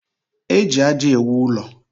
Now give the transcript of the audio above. E ji aja ewụ ụlọ.